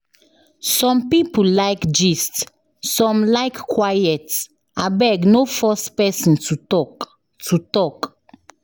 Some people like gist, some like quiet, abeg no force pesin to talk. to talk.